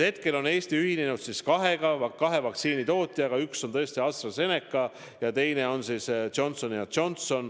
Hetkel on Eesti ühinenud tellimusega kahelt vaktsiinitootjalt, üks on tõesti AstraZeneca ja teine on Johnson & Johnson.